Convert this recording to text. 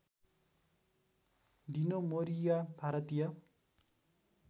Dino Morea Bharatiya